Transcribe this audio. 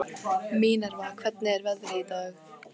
Minerva, hvernig er veðrið í dag?